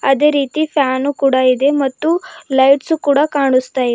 ಅದೇ ರೀತಿ ಫ್ಯಾನು ಕೂಡ ಇದೆ ಮತ್ತು ಲೈಟ್ಸು ಕೂಡ ಕಾಣಸ್ತಾ--